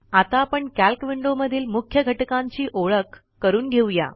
आता आपण कॅल्क विंडोमधील मुख्य घटकांची ओळख करून घेऊ या